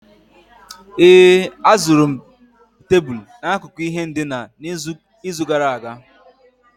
ee, azụrụ m tebụl n'akụkụ ihe ndina n'izu gara aga